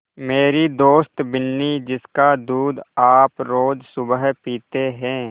मेरी दोस्त बिन्नी जिसका दूध आप रोज़ सुबह पीते हैं